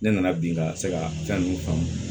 Ne nana bin ka se ka fɛn nunnu faamu